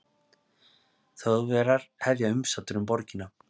þjóðverjar hefja umsátur um borgina